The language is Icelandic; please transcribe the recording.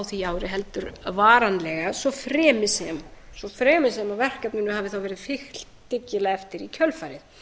því ári heldur varanlega svo fremi sem verkefninu hafi þá verið fylgt dyggilega eftir í kjölfarið